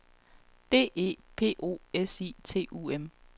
D E P O S I T U M